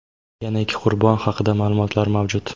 yana ikki qurbon haqida ma’lumotlar mavjud.